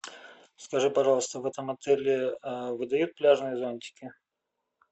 скажи пожалуйста в этом отеле выдают пляжные зонтики